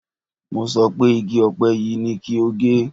Mo sọ pé igi ọ̀pẹ yìí ni kí o gé!